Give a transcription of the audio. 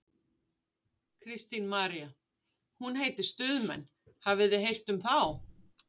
Kristín María: Hún heitir Stuðmenn, hafið þið heyrt um þá?